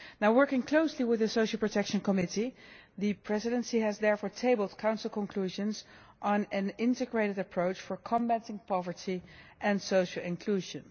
Working closely with the Social Protection Committee, the Presidency has therefore tabled Council Conclusions on an integrated approach for combating poverty and social inclusion.